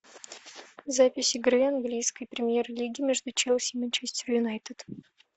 запись игры английской премьер лиги между челси и манчестер юнайтед